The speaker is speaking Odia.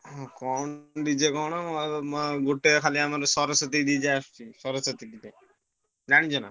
ହଁ DJ କଣ ଆଉ ମୋ ଗୋଟେ ଖାଲି ଆମର ସରସ୍ବତୀ DJ ଆସୁଛି ସରସ୍ବତୀ ଜାଣିଛ?